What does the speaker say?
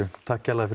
takk kærlega fyrir